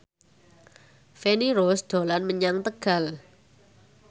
Feni Rose dolan menyang Tegal